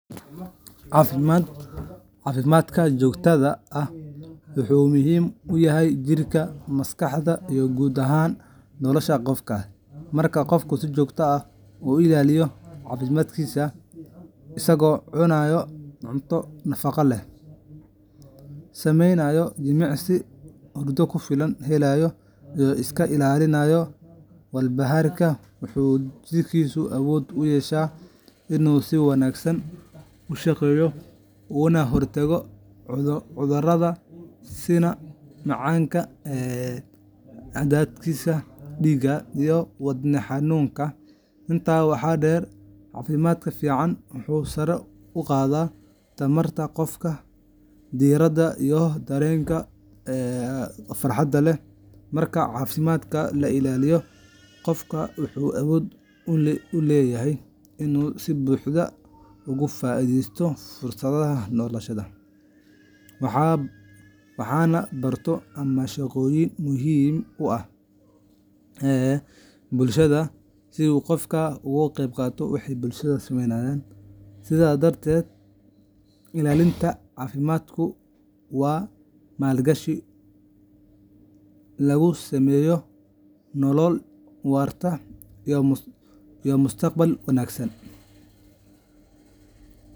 Caafimaadka joogtada ah wuxuu muhiim u yahay jirka, maskaxda, iyo guud ahaan nolosha qofka. Marka qofku si joogto ah u ilaaliyo caafimaadkiisa isagoo cunaya cunto nafaqo leh, samaynaya jimicsi, hurda ku filan hela, iyo iska ilaalinaya walbahaarka wuxuu jidhkiisu awood u yeeshaa inuu si wanaagsan u shaqeeyo, una hortago cudurrada sida macaanka, cadaadiska dhiigga, iyo wadne xanuunka. Intaa waxaa dheer, caafimaadka fiican wuxuu sare u qaadaa tamarta qofka, diiradda, iyo dareenka farxadda leh. Marka caafimaadka la ilaaliyo, qofku wuxuu awood u leeyahay inuu si buuxda uga faa'iidaysto fursadaha nolosha, waxna barto ama shaqooyin muhiim ah qabto si hufan. Sidaas darteed, ilaalinta caafimaadku waa maalgashi lagu sameeyo nolol waarta iyo mustaqbal wanaagsan.